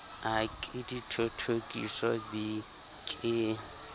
a ke dithothokiso b ke